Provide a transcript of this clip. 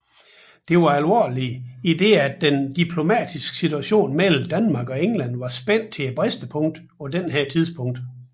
Dette var alvorligt i det at den diplomatiske situation mellem Danmark og England var spændt til bristepunktet på dette tidspunkt